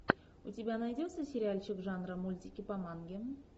у тебя найдется сериальчик жанра мультики по манге